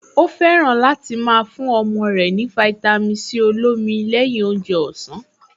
Ó fẹ́ràn láti máa fún ọmọ rẹ̀ ní fáítámì Sí olómi lẹ́yìn oúnjẹ ọ̀sán